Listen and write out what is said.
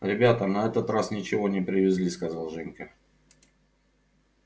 ребята на этот раз ничего не привезли сказал женька